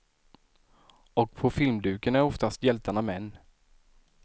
Och på filmduken är oftast hjältarna män.